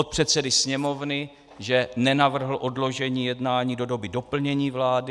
Od předsedy Sněmovny, že nenavrhl odložení jednání do doby doplnění vlády.